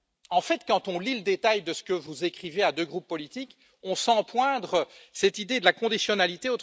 En fait, quand on lit le détail de ce que vous écrivez à deux groupes politiques, on sent poindre cette idée de la conditionnalité.